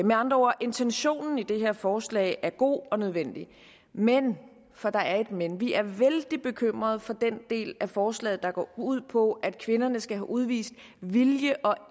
med andre ord er intentionen i det her forslag god og nødvendig men for der er et men vi er vældig bekymrede for den del af forslaget der går ud på at kvinderne skal have udvist vilje og